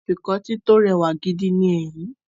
Afikọ́tí tó rẹwà gidi ni èyí